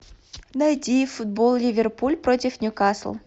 найди футбол ливерпуль против ньюкасл